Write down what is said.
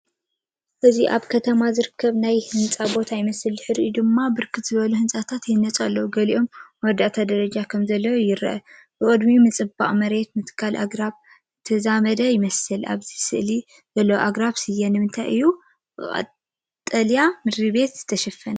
እዚ ኣብታ ከተማ ዝርከብ ናይ ህንፀት ቦታ ይመስል። ድሒሩ ድማ ብርክት ዝበሉ ህንጻታት ይህነፁ ኣለው። ገሊኦም መወዳእታ ደረጃ ከምዘለዉ ይረአ። ብቕድሚትምጽባቕ መሬትን ምትካል ኣግራብን ዝተዛዘመ ይመስል። ኣብዚ ስእሊ ዘለዉ ኣግራብ ስየ ንምንታይ እዮም ብቀጠልያ ምድሪቤት ዝተሸፈኑ?